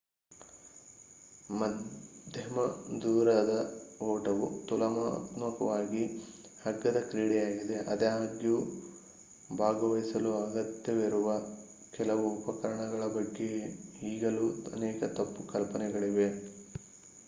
ಮಧ್ಯಮ ದೂರದ ಓಟವು ತುಲನಾತ್ಮಕವಾಗಿ ಅಗ್ಗದ ಕ್ರೀಡೆಯಾಗಿದೆ ಆದಾಗ್ಯೂ ಭಾಗವಹಿಸಲು ಅಗತ್ಯವಿರುವ ಕೆಲವು ಉಪಕರಣಗಳ ಬಗ್ಗೆ ಈಗಲೂ ಅನೇಕ ತಪ್ಪು ಕಲ್ಪನೆಗಳಿವೆ